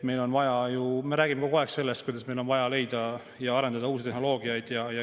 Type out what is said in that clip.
Me räägime kogu aeg sellest, kuidas meil on vaja leida ja arendada uut tehnoloogiat.